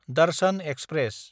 Darshan express